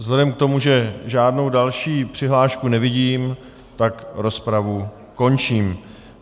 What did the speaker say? Vzhledem k tomu, že žádnou další přihlášku nevidím, tak rozpravu končím.